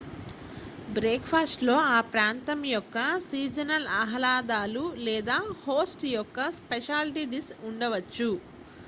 బ్రేక్ఫాస్ట్లో ఆ ప్రాంతం యొక్క సీజనల్ ఆహ్లాదాలు లేదా హోస్ట్ యొక్క స్పెషాలిటీ డిష్ ఉండవచ్చు